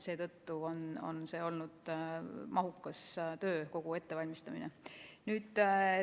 Seetõttu on kogu see ettevalmistamine olnud mahukas töö.